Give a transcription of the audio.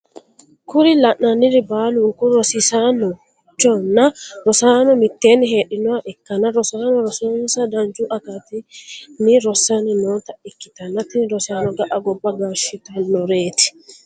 Kuri lananiri baliniku rosisanchona rosano miteni hedhinoha ikana rosanono rosonisa danchu akatini rosani noota ikitana tini rosano ga’a goba gashitanoret.